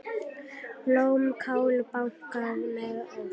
Blómkál bakað með osti